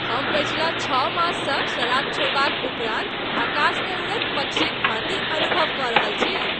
हम पछिला छओ माससँ शराब छोड़बाक उपरान्त आकाशमे उड़ैत पक्षीक भाँति अनुभव कऽ रहल छी।